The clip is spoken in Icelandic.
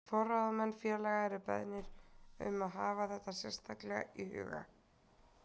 Forráðamenn félaga eru beðnir um að hafa þetta sérstaklega í huga.